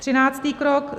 Třináctý krok.